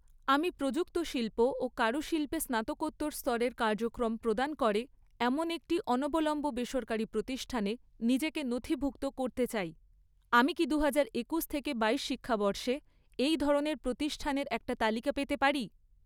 আমি প্রযুক্ত শিল্প ও কারুশিল্পে স্নাতকোত্তর স্তরের কার্যক্রম প্রদান করে এমন একটি অনবলম্ব বেসরকারি প্রতিষ্ঠানে নিজেকে নথিভুক্ত করতে চাই, আমি কি দুহাজার একুশ থেকে বাইশ শিক্ষাবর্ষে এই ধরনের প্রতিষ্ঠানের একটা তালিকা পেতে পারি?